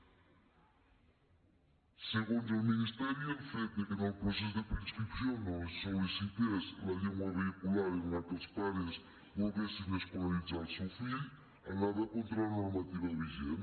segons el ministeri el fet que en el procés de preinscripció no es sol·licités la llengua vehicular en la qual els pares volien escolaritzar el seu fill anava contra la normativa vigent